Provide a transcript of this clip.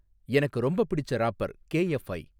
எனக்கு ரொம்பப் பிடிச்ச ராப்பர் கேஎஃப்ஐ